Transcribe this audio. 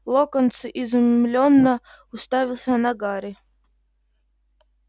локонс изумлённо уставился на гарри